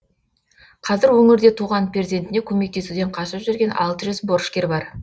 қазір өңірде туған перзентіне көмектесуден қашып жүрген алты жүз борышкер бар